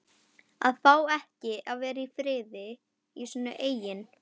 AÐ FÁ EKKI AÐ VERA Í FRIÐI Í SÍNU EIGIN